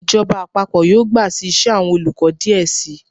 Ijọba àpapọ yọọ gba sí ìse, awọn olukọ diẹ sii